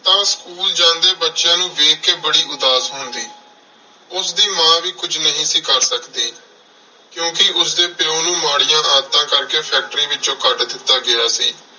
ਤਾਂ school ਜਾਂਦੇ ਬੱਚਿਆਂ ਨੂੰ ਦੇਖ ਕੇ ਬੜੀ ਉਦਾਸ ਹੁੰਦੀ। ਉਸਦੀ ਮਾਂ ਵੀ ਕੁੱਝ ਨਹੀਂ ਸੀ ਕਰ ਸਕਦੀ। ਕਿਉਂਕਿ ਉਸਦੇ ਪਿਉ ਨੂੰ ਮਾੜੀਆਂ ਆਦਤਾਂ ਕਰਕੇ factory ਵਿੱਚੋਂ ਕੱਢ ਦਿੱਤਾ ਗਿਆ ਸੀ